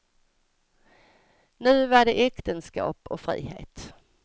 Nu var det äktenskap och frihet.